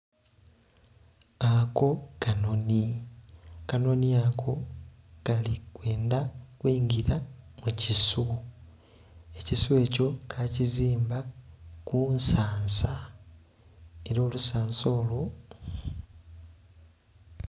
Ako kanhonhi, akanhonhi ako kali kwendha kwingira mu kisu ekisu ekyo kakizimba ku nsansa, ela olusansa olwo...